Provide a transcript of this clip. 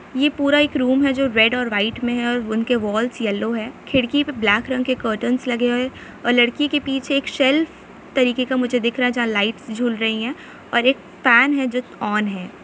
यह पूरा एक रूम है जो रेड और व्हाइट में है और उनके वाल्स येलो है खिड़की पर ब्लैक रंग के कार्टंस लगे हुए हैं और लड़की के पीछे सेल तरह का मुझे दिख रहा है जहां लाइट्स झूल रही है और एक पेन है जो ऑन है।